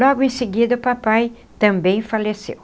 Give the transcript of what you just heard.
Logo em seguida o papai também faleceu.